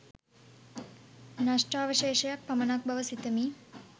නෂ්ඨාවශේෂයක් පමණක් බව සිතමි